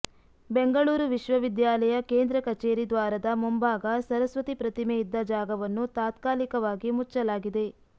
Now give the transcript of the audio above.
ಬೆಂಗಳೂರು ವಿಶ್ವವಿದ್ಯಾಲಯ ಕೇಂದ್ರ ಕಚೇರಿ ದ್ವಾರದ ಮುಂಭಾಗ ಸರಸ್ವತಿ ಪ್ರತಿಮೆ ಇದ್ದ ಜಾಗವನ್ನು ತಾತ್ಕಾಲಿಕವಾಗಿ ಮುಚ್ಚಲಾಗಿದೆ